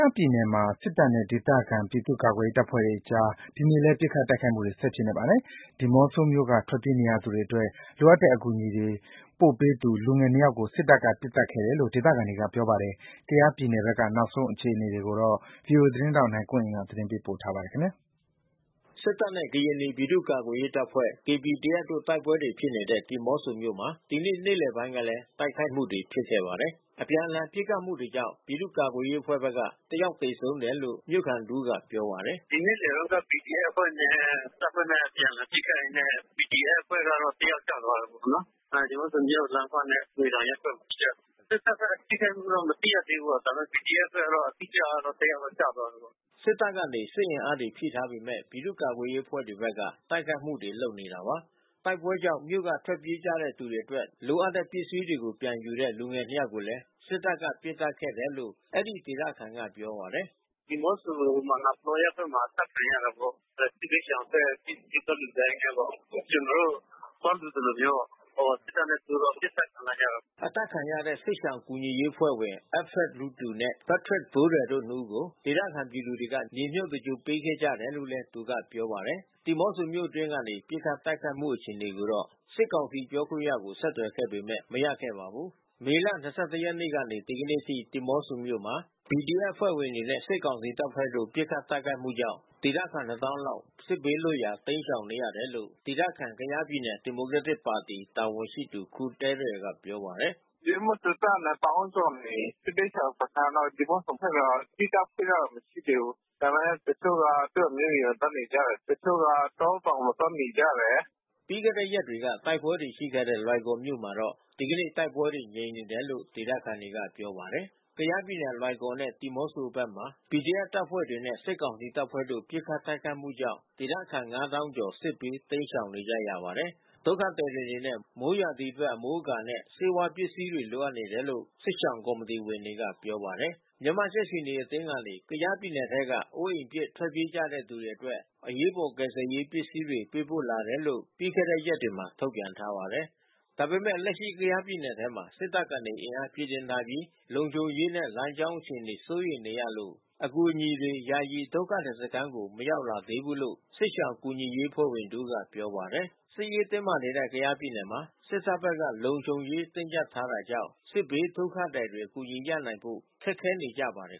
ားပြည်နယ်မှာ စစ်တပ်နဲ့ ဒေသခံပြည်သူ့ကာကွယ်ရေးအဖွဲ့တွေကြား ဒီနေ့လည်း ပစ်ခတ်တိုက်ခိုက်မှုတွေ ဆက်ဖြစ်နေပါတယ်။ ဒီမောဆိုမြို့က ထွက်ပြေးနေရသူတွေအတွက် လိုအပ်တဲ့အကူအညီတွေပို့ပေးသူ လူငယ်နှစ်ယောက်ကို စစ်တပ်ကပစ်သတ်ခဲ့တယ်လို့ ဒေသခံတွေကပြောပါတယ်။ ကယားပြည်နယ်ဘက်က နောက်ဆုံးအခြေအနေတွေကို ဗွီအိုအေသတင်းထောက် နိုင်ကွန်းအိန်က သတင်းပေးပို့ထားပါတယ်။ စစ်တပ်နဲ့ ကရင်နီ ပြည်သူ့ကာကွယ်ရေးတပ်ဖွဲ့ KPDF တို့တိုက်ပွဲတွေဖြစ်နေတဲ့ ဒီမောဆိုမြို့မှာ ဒီနေ့ နေ့လည်ပိုင်းကလည်း တိုက်ခိုက်မှုတွေ ဖြစ်ခဲ့ပါတယ်။ အပြန်အလှန် ပစ်ခတ်မှုတွေကြောင့် ပြည်သူ့ကာကွယ်ရေး အဖွဲ့ဘက်က ၁ ယောက်သေဆုံးတယ်လို့ မြို့ခံတဦးကပြောပါတယ်။ "ဒီနေ့လည်တုန်းက PDF အဖွဲ့နဲ့ တပ်ဘက်နဲ့အပြန်အလှန်ပစ်ခတ်ရင်းနဲ့ PDF အဖွဲ့ဘက်ကတယောက်ကျသွားတာပေါ့နော်။ ဒီမောဆိုမြို့လမ်းခွနဲ့ငွေတောင်ရပ်ကွက်မှာပစ်ကြတယ်။ စစ်တပ်ဘက်ထိခိုက်မှုတော့မသိရသေးဘူး။ ဒါပေမဲ့ PDF ဘက်ကတော့ အတိအကျကတော့ တယောက်ကျသွားတယ်" စစ်တပ်က အင်အားဖြည့်ထားပေမဲ့ ပြည်သူ့ကာကွယ်ရေးအဖွဲ့တွေက တိုက်ခိုက်မှုတွေ လုပ်နေတာပါ။ တိုက်ပွဲတွေကြောင့် မြို့က ထွက်ပြေးသွားကြသူတွေအတွက် လိုအပ်တဲ့ပစ္စည်းတွေ ပြန်ယူတဲ့ လူငယ်နှစ်ယောက်ကို စစ်တပ်က ဒီနေ့ မနက်ပိုင်းမှာ ပစ်ခတ်ခဲ့တယ်လို့ အဲဒီဒေသခံက ပြောပါတယ်။ "ဒီမောဆို မာနာပလောရပ်ကွက်မှာ အသတ်ခံရတာပေါ့။ စစ်ဘေးရှောင်အတွက်ပစ္စည်းသွားလှူဒါန်းရင်းနဲ့ပေါ့။ ကျနော်တို့သွားလှူသလိုမျိုးပေါ့။ ဟိုစစ်တပ်နဲ့တိုးတော့ပစ်သတ်ခံလိုက်ရတာပေါ့။ ဒီမနက်မှာပဲ။" အသတ်ခံရတဲ့စစ်ရှောင်ကူညီရေးအဖွဲ့ဝင် Alfred လုဒူ နဲ့ Patrick ဘိုးရယ်တို့နှစ်ဦးကို ဒေသခံပြည်သူတွေက မြေမြုပ်သင်္ဂြိုလ်ပေးခဲ့ကြတယ်လို့လည်း သူက ပြောပါတယ်။ ဒီမောဆိုမြို့တွင်း ဒီကနေ့ ပစ်ခတ်တိုက်ခိုက်မှုအခြေအနေနဲ့ပတ်သက်ပြီး မေးမြန်းဖို့ စစ်ကောင်စီပြောခွင့်ရကို ဆက်သွယ်ခဲ့ပေမဲ့ မရခဲ့ပါဘူး။ မေလ ၂၁ ရက်နေ့ကနေ ဒီကနေ့အထိ ဒီမောဆိုမြို့မှာ PDF အဖွဲ့ဝင်တွေနဲ့ စစ်ကောင်စီတပ်ဖွဲ့တို့ ပစ်ခတ်တိုက်ခိုက်မှုကြောင့် ဒေသခံ ၂၀,၀၀၀ လောက် စစ်ဘေးလွတ်ရာတိမ်းရှောင်နေရတယ်လို့ ဒေသခံ ကယားပြည်နယ် ဒီမိုကရက်တစ်ပါတီတာဝန်ရှိသူ ခူသဲရယ် ကပြောပါတယ်။ "ဒီမောဆိုသက်သက်က ၂၀,၀၀၀ ကျော်နေပြီ။ စစ်ဘေးရှောင်စခန်းတော့ ဒီမောဆိုဘက်မှာ သီးသန့်ဖွင့်ထားတာမရှိသေးဘူး။ ဒါပေမဲ့ တချို့က သူ့အမျိုးအိမ်မှာသွားနေကြတယ်။ တချို့က တောတောင်မှာသွားနေကြတယ်။" ပြီးခဲ့တဲ့ရက်တွေက တိုက်ပွဲတွေရှိခဲ့တဲ့ လွိုင်ကော်မြို့မှာတော့ ဒီနေ့ တိုက်ပွဲတွေငြိမ်နေတယ်လို့ ဒေသခံတွေက ပြောပါတယ်။ ကယားပြည်နယ် လွိုင်ကော်နဲ့ ဒီမောဆိုဘက်မှာ PDF တပ်ဖွဲ့တွေနဲ့စစ်ကောင်စီတပ်ဖွဲ့တို့ ပစ်ခတ် တိုက်ခိုက်မှုကြောင့် ဒေသခံ ၅၀,၀၀၀ ကျော် စစ်ဘေးတိမ်းရှောင်နေကြရပါတယ်။ ဒုက္ခသည်တွေ အနေနဲ့ မိုးရာသီအတွက်အမိုးအကာနဲ့ဆေးဝါးပစ္စည်းတွေလိုအပ်နေတယ်လို့ စစ်ရှောင်ကော်မီတီဝင် တွေက ပြောပါတယ်။ မြန်မာနိုင်ငံကြက်ခြေနီအသင်းကနေ ကယားပြည်နယ်ထဲက အိုးအိမ်ပစ် ထွက်ပြေးနေကြရသူတွေအတွက် အရေးပေါ်ကယ်ဆယ်ရေးပစ္စည်းတွေ ပေးပို့လာတယ်လို့ ပြီးခဲ့တဲ့ရက်တွေမှာထုတ်ပြန်ထားပါတယ်။ ဒါပေမဲ့ လက်ရှိကယားပြည်နယ်ထဲမှာ စစ်တပ်ဘက်က အင်အားဖြည့်တင်းထားပြီး လုံခြုံရေးနဲ့ လမ်းကြောင်းအခြေအနေစိုးရိမ်နေရလို့ ယာယီ ဒုက္ခသည်စခန်းကို အကူအညီတွေ ရောက်မလာသေးဘူးလို့ စစ်ရှောင်ကူညီရေးအဖွဲ့ဝင်တဦးက ပြောပါတယ်။ စစ်ရေးတင်းမာနေတဲ့ ကယားပြည်နယ်မှာ စစ်တပ်ဘက်က လုံခြုံရေးတင်းကြပ်ထားတာကြောင့် စစ်ဘေးဒုက္ခသည်တွေ အကူအညီရနိုင်ဖို့ ခက်ခဲနေကြပါတယ်